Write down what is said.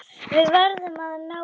Við verðum að ná honum.